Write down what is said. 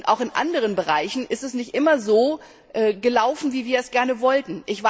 Auch in anderen Bereichen ist es nicht immer so gelaufen, wie wir das gerne wollten.